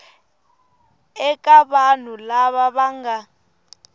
eka vanhu lava va nga